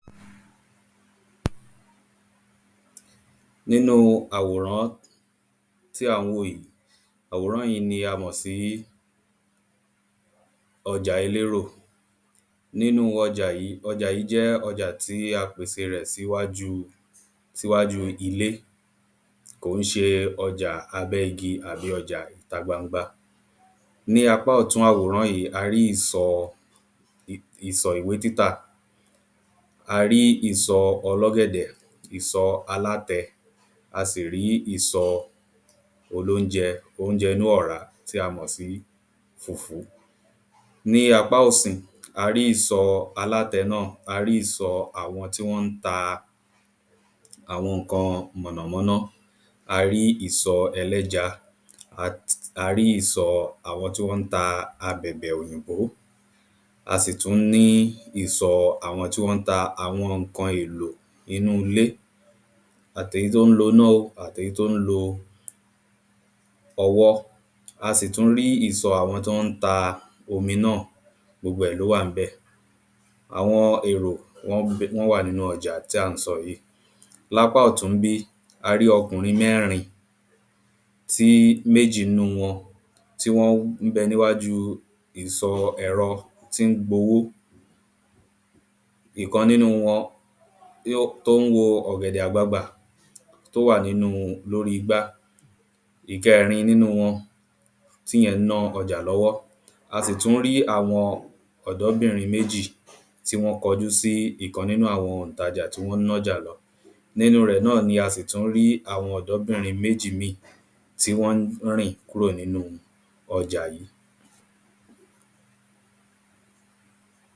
nínú àwòrán tí à ń wò yí àwòrán yí ni a mọ̀ sí ọjà elérò nínú ọjà yí ọjà yí jẹ́ ọjà tí a pèse rẹ̀ síwájú síwájú ilé kò ń ṣe ọjà abẹ́ igi àbí ọjà ìta gbangba ní apá ọ̀tún àwòrán yí a rí ìsọ ìsọ ìwé títà a rí ìsọ ọlọ́gẹ̀dẹ̀ ìsọ alátẹ a sì rí ìsọ olóunjẹ óunjẹ inú ọ̀rá tí a mọ̀ sí fùfú ní apá òsì a rí ìsọ alátẹ náà a rí ìsọ àwọn tí wọ́n ta àwọn ǹkan mọ̀nàmọ́ná a rí ìsọ ẹlẹ́ja a rí ìsọ àwọn tí wọ́n ta abẹ̀bẹ̀ òyìnbó a sì tú ní ìsọ àwọn tí wọ́n ta àwọn ǹkan èlò inú ilé àtèyí tó ń lo ná o àtèyí tó ń ọwọ́ a sì tú rí ìsọ àwọn tọ́ ń ta omi náà gbogbo ẹ̀ ló wà ní bẹ̀gbogbo ẹ̀ ló wà ní bẹ̀ àwọn èrò wọ́n wà nínú ọjà tí à ń sọ yí lápá ọ̀tún ń bí a rí ọkùnrin mẹ́rin tí méjí̀ nú wọn tí wọ́n bẹ níwájú ìsọ ẹ̀rọ tí ń gbowó ìkan nínú wọn tó ń wo ọ̀gẹ̀dẹ̀ àgbagbà tó wà nínú lórí igbá ìkẹrin nínú wọn tíyẹn ń ná ọjà lọ́wọ́ a sì tú rí àwọn ọdọbínrin méjì tí wọ́n kọ jú sí ìkan nínú àwọn oǹtajà tí wọ́n nájà lọ nínú rẹ̀ náà ni a sì tú rí àwọn ọdọbínrin méjì míì tí wọ́n ń rìn kúrò nínu ọjà yí